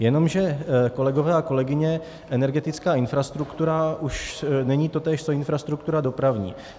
Jenomže, kolegové a kolegyně, energetická infrastruktura už není totéž co infrastruktura dopravní.